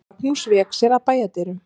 Magnús vék sér að bæjardyrunum.